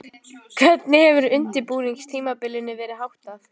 Hvernig hefur undirbúningstímabilinu verið háttað?